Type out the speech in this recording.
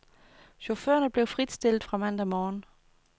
Chaufførerne blev fritstillet fra mandag morgen.